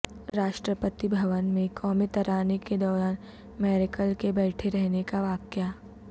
راشٹراپتی بھون میں قومی ترانے کے دوران میرکل کے بیٹھے رہنے کا واقعہ